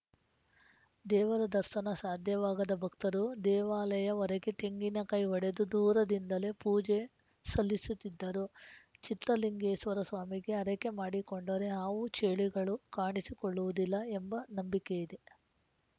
ದೇವರ ದರ್ಸನ ಸಾಧ್ಯವಾಗದ ಭಕ್ತರು ದೇವಾಲಯ ಹೊರಗೆ ತೆಂಗಿನಕಾಯಿ ಒಡೆದು ದೂರದಿಂದಲೇ ಪೂಜೆ ಸಲ್ಲಿಸುತ್ತಿದ್ದರು ಚಿತ್ರಲಿಂಗೇಶ್ವರ ಸ್ವಾಮಿಗೆ ಹರಕೆ ಮಾಡಿಕೊಂಡರೆ ಹಾವು ಚೇಳುಗಳು ಕಾಣಿಸಿಕೊಳ್ಳುವುದಿಲ್ಲ ಎಂಬ ನಂಬಿಕೆಯಿದೆ